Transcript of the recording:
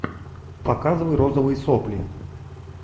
показывай розовые сопли